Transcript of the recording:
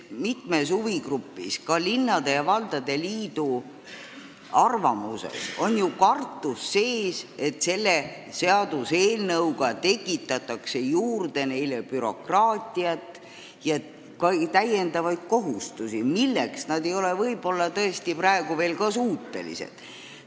Mitme huvigrupi, sh linnade ja valdade liidu arvamuses on ju sees kartus, et selle seaduseelnõuga tekitatakse neile juurde bürokraatiat ja ka täiendavaid kohustusi, milleks nad ei ole võib-olla tõesti praegu veel suutelised.